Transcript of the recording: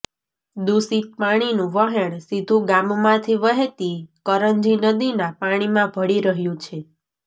દુષિત પાણીનું વહેણ સીધું ગામમાંથી વહેતી કરંજી નદીના પાણીમાં ભળી રહ્યું છે